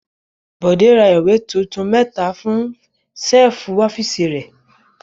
Bọ̀dé ra ìwé tuntun mẹ́ta fún ṣẹ́lífù ọ́fíísì rẹ̀.